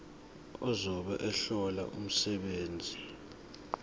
ozobe ehlola umsebenzi